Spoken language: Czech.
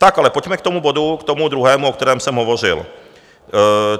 Tak, ale pojďme k tomu bodu, k tomu druhému, o kterém jsem hovořil.